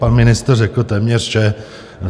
Pan ministr řekl téměř vše.